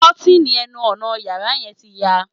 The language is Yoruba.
Kọ́tìnì ẹnu ọnà yàrá yẹn ti ya